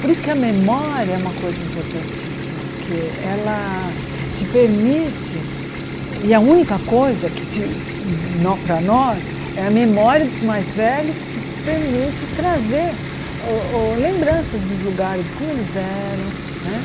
Por isso que a memória é uma coisa importantíssima, porque ela te permite, e a única coisa que te nó para nós, é a memória dos mais velhos que permite trazer lembranças dos lugares, como eles eram né.